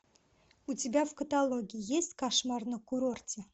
у тебя в каталоге есть кошмар на курорте